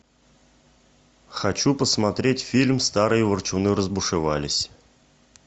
хочу посмотреть фильм старые ворчуны разбушевались